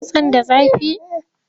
Kitson da zafi?